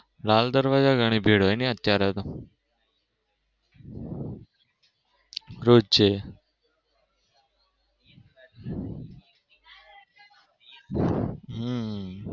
લાલદરવાજા ઘણી ભીડ હોય નઈ અત્યારે તો રોજ્જે.